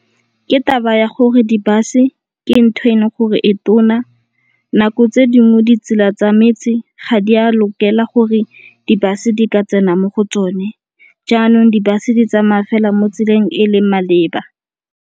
Ke taba ya gore di-bus-e ke ntho e leng gore e tona nako tse dingwe ditsela tsa metse ga di a lokela gore di-bus-e di ka tsena mo go tsone. Jaanong di-bus-e di tsamaya fela mo tseleng e leng maleba.